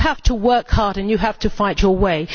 You have to work hard and you have to fight your way.